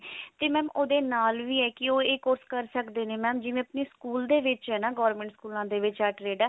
ਤੇ mam ਉਹਦੇ ਨਾਲ ਵੀ ਹੈ ਕੀ ਉਹ ਇਹ course ਕਰ ਸਕਦੇ ਨੇ mam ਜਿਵੇਂ ਆਪਣੀ ਸਕੂਲ ਦੇ ਵਿੱਚ ਹੈ ਨਾ ਗੋਰਮੇੰਟ ਸਕੂਲਾਂ ਦੇ ਵਿੱਚ ਆ